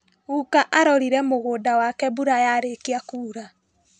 Guka arorire mũgunda wake mbura yarĩkia kura.